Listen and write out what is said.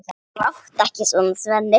Láttu ekki svona, Svenni.